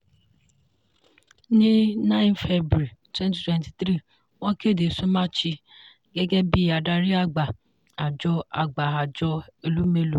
ní nine february twenty twenty three wọ́n kéde somachi gẹ́gẹ́ bí adarí àgbà àjọ àgbà àjọ elumelu.